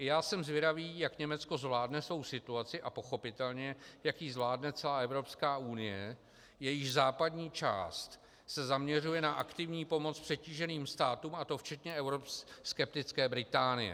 I já jsem zvědavý, jak Německo zvládne svou situaci a pochopitelně jak ji zvládne celá Evropská unie, jejíž západní část se zaměřuje na aktivní pomoc přetíženým státům, a to včetně euroskeptické Británie.